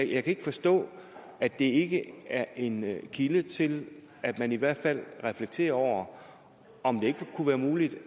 ikke forstå at det ikke er en kilde til at man i hvert fald reflekterer over om det ikke kunne være muligt